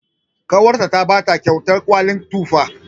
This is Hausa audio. Ƙawarta ta bata kyautar kwalin tufa.